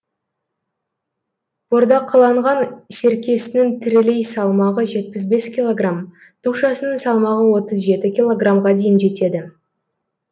бордақыланған серкесінің тірілей салмағы жетпіс бес килограмм тушасының салмағы отыз жеті килограммға дейін жетеді